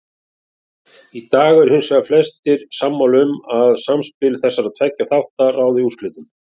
Í dag eru hins vegar flestir sammála um að samspil þessara tveggja þátta ráði úrslitum.